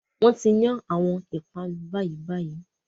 Wọn ti n Yàn awọn ipanu bayibayi